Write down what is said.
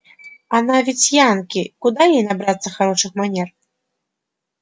она ведь янки куда ей набраться хороших манер